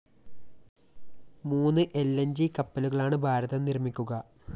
മൂന്ന് ൽ ന്‌ ജി കപ്പലുകളാണ് ഭാരതം നിര്‍മ്മിക്കുക